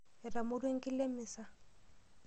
Eramorua enkila emisa.